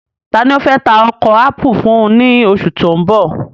Taani o fẹ́ tà oko ápù fún ní oṣù tí o n bọ̀?